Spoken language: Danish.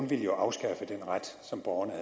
ville afskaffe den ret som borgerne